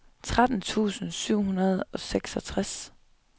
tretten tusind syv hundrede og seksogtres